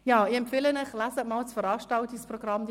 Ich empfehle Ihnen, das Veranstaltungsprogramm zu lesen.